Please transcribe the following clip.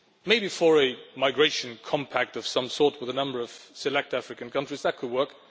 maybe for a migration compact of some sort with a number of select African countries, that could work.